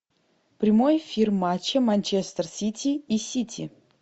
прямой эфир матча манчестер сити и сити